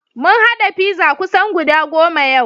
Mun haɗa pizza kusan goda goma yau.